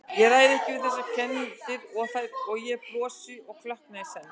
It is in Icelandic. Ég ræð ekki við þessar kenndir- og ég brosi og klökkna í senn.